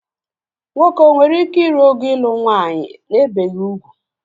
Nwoke o nwere ike ịrụ ogo ịlụ nwanyị ebeghi ugwu?